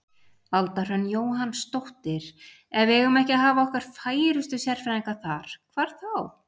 Alda Hrönn Jóhannsdóttir: Ef við eigum ekki að hafa okkar færustu sérfræðinga þar, hvar þá?